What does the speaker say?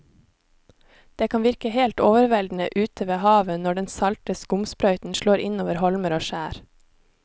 Det kan virke helt overveldende ute ved havet når den salte skumsprøyten slår innover holmer og skjær.